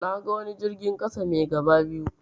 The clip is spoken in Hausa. Naga wani jirgin ƙasa mai gaba biyu.